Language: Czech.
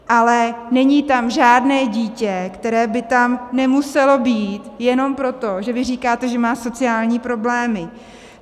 Ale není tam žádné dítě, které by tam nemuselo být jenom proto, že vy říkáte, že má sociální problémy.